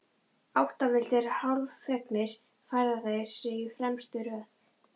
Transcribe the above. Áttavilltir, hálffegnir, færa þeir sig í fremstu röð.